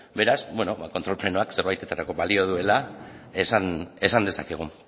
beraz kontrol plenoak zerbaitetarako balio duela esan dezakegu